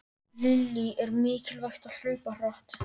Lillý: Er mikilvægt að hlaupa hratt?